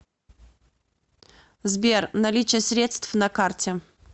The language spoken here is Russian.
сбер наличие средств на карте